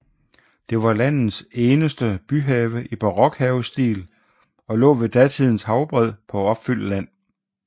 Det var landets eneste byhave i barok havestil og lå ved datidens havbred på opfyldt land